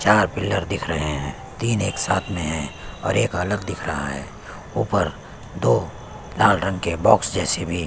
चार पिलर दिख रहे हैं तीन एक साथ में है और एक अलग दिख रहा है ऊपर दो लाल रंग के बॉक्स जैसे भी--